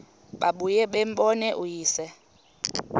babuye bambone uyise